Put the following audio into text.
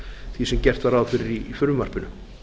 því sem gert var ráð fyrir í frumvarpinu